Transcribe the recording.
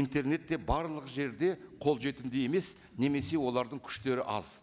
интернет те барлық жерде қолжетімді емес немесе олардың күштері аз